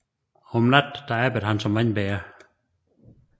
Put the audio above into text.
Om natten arbejdede han som vandbærer